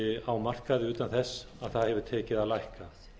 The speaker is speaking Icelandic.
á markaði utan þess að það hefur tekið að lækka